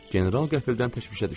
General qəfildən təşvişə düşdü.